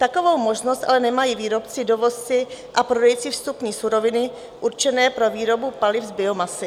Takovou možnost ale nemají výrobci, dovozci a prodejci vstupní suroviny určené pro výboru paliv z biomasy.